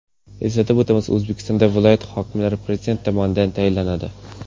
Eslatib o‘tamiz, O‘zbekistonda viloyat hokimlari prezident tomonidan tayinlanadi.